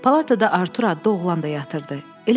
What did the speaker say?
Palatada Artur adlı oğlan da yatırdı.